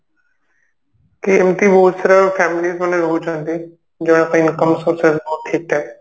କି ଏମତି ବହୁତ ସାରା family's ମାନେ ରହୁଛନ୍ତି ଯାହାର income source ବହୁତ ଠିକ ଠାକ